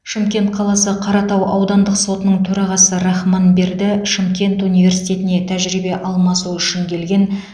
шымкент қаласы қаратау аудандық сотының төрағасы рахманберді шымкент университетіне тәжірибе алмасу үшін келген